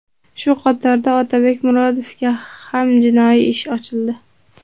Shu qatorda Otabek Murodovga ham jinoiy ish ochildi .